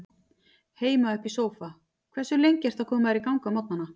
Heima upp í sófa Hversu lengi ertu að koma þér í gang á morgnanna?